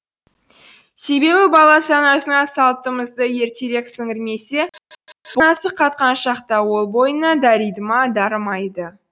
себебі бала санасына салттымызды ертерек сіңірмесе қатқан шақта ол бойына дариды ма дарымайды